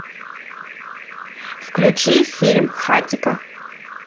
включи фильм хатико